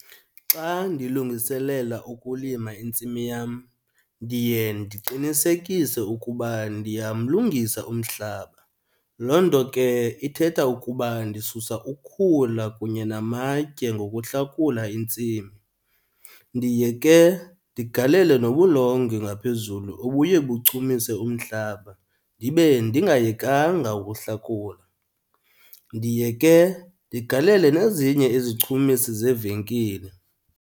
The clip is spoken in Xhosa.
Xa ndilungiselela ukulima intsimi yam ndiye ndiqinisekise ukuba ndiyamlungisa umhlaba, loo nto ke ithetha ukuba ndisusa ukhula kunye namatye ngokuhlakula intsimi. Ndiye ke ndigalele nobulongwe ngaphezulu obuye buchumise umhlaba ndibe ndingayekanga ukuhlakula. Ndiye ke ndigalele nezinye izichumisi zevenkile.